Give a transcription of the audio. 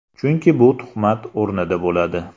Chunki bu tuhmat o‘rnida bo‘ladi.